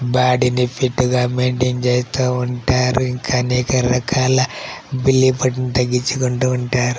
బాడిని fit గా maintain చేస్తూ ఉంటారు. ఇంకా అనేక రకాల